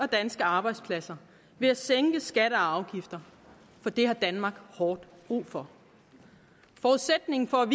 danske arbejdspladser ved at sænke skatter og afgifter for det har danmark hårdt brug for forudsætningen for at